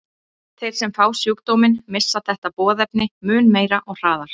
Þeir sem fá sjúkdóminn missa þetta boðefni mun meira og hraðar.